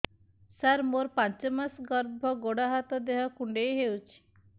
ସାର ମୋର ପାଞ୍ଚ ମାସ ଗର୍ଭ ଗୋଡ ହାତ ଦେହ କୁଣ୍ଡେଇ ହେଉଛି